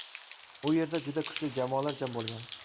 U yerda juda kuchli jamoalar jam bo‘lgan.